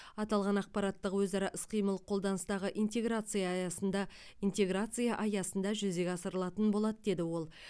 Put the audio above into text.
аталған ақпараттық өзара іс қимыл қолданыстағы интеграция аясында интеграция аясында жүзеге асырылатын болады деді ол